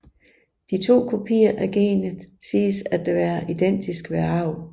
De to kopier af genet siges da at være identiske ved arv